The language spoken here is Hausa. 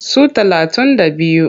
Su talatun da biyu.